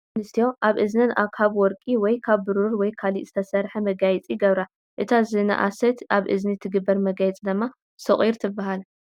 ደቂ ኣንስትዮ ኣብ እዝነን ካብ ወርቂ ወይ ካብ ብሩር ወይ ካልእ ስተሰርሐ መጋየፂ ይገብራ፡፡ እታ ዝነኣሰት ኣብ እዝኒ ትግበር መጋየፂ ድማ ሶቒር ትበሃል፡፡